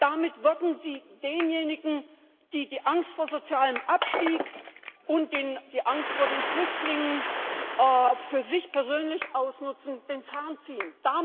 Damit wollten sie denjenigen, die die Angst vor sozialem Abstieg und die Angst vor den Flüchtlingen für sich persönlich ausnutzen, den Zahn ziehen.